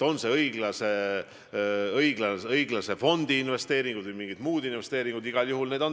Need nn õiglase fondi investeeringud või mingid muud investeeringud on igal juhul tähtsad.